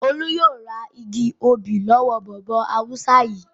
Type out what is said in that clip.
Olú yóò ra igi obì lọ́wọ́ bọ̀bọ́ Haúsá yìí!